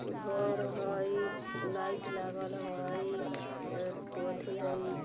घर हई लाइट लागल हई पथी हई ।